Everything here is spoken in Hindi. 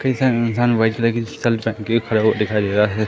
पीछे एक इंसान व्हाइट कलर की शल्ट पहन के खड़ा हुआ दिखाई दे रहा है।